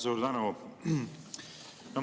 Suur tänu!